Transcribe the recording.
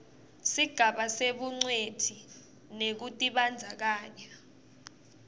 sigaba sebungcweti nekutibandzakanya